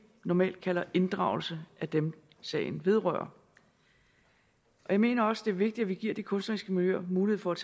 normalt kalder inddragelse af dem sagen vedrører jeg mener også at det er vigtigt at vi giver de kunstneriske miljøer mulighed for at